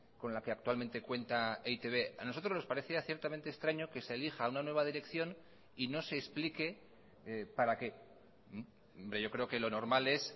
con la que actualmente cuenta e i te be a nosotros nos parecía ciertamente extraño que se elija a una nueva dirección y no se explique para qué yo creo que lo normal es